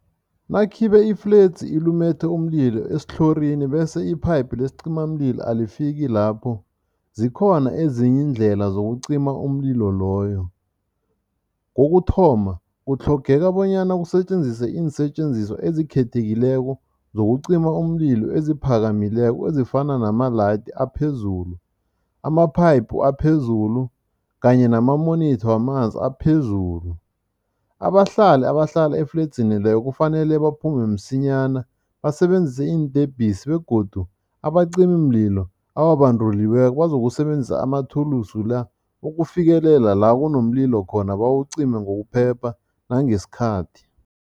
Nakhibe ifledzi ilumethe umlilo esithlorini bese iphayiphu lesicimamlilo alifiki lapho, zikhona ezinye iindlela zokucima umlilo loyo. Kokuthoma, kutlhogeka bonyana kusetjenziswe iinsetjenziswa ezikhethekileko zokucima umlilo eziphakamileko ezifana namalayithi aphezulu, ama-pipe aphezulu kanye nama-monitor wamanzi aphezulu. Abahlali abahlala efledzini leyo kufanele baphume msinyana, basebenzise iintebhisi begodu abacimimlilo ababanduliweko bazokusebenzisa amathulusi la ukufikelela la kunomlilo khona bawucime ngokuphepha nangesikhathi.